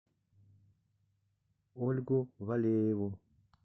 ольгу валееву